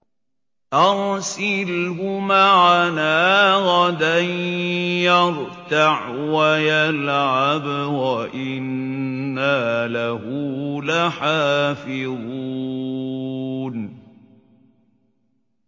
أَرْسِلْهُ مَعَنَا غَدًا يَرْتَعْ وَيَلْعَبْ وَإِنَّا لَهُ لَحَافِظُونَ